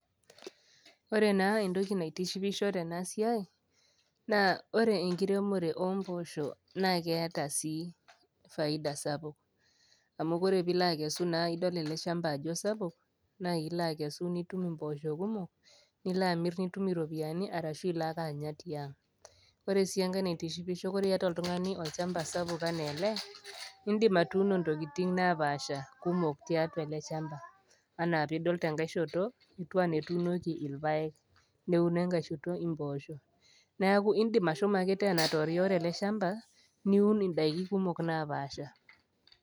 Ore naa entoki naitishipisho tenasiai naa ore enkiremore omposho naa keetaa sii faida sapuk amu ore pilo akesu idol eleshamba ajo esapuk naa ilo akesu nitum imposho kumok nilo amir nitum iropiyiani arashu iloake anya tiang. Oresienkae natishipisho, ore iyata oltungani olchamba sapuk anaa ele nindim atuuno ntokitin napasha kumok tiatua eleshamba anaa pidol tenkae shhoto etiu anaa etuunoki irpaek , neuno enkae shoto imposho . Neeku indim ashomo tena atorioro ele shamba niun indaiki kumok napasha .